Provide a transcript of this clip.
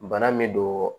Bana min don